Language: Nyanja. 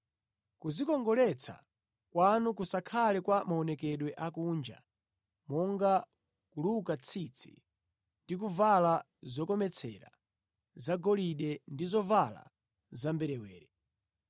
Kudzikongoletsa kwanu kusakhale kwa maonekedwe akunja, monga kuluka tsitsi ndi kuvala zokometsera zagolide ndi zovala zamberewere.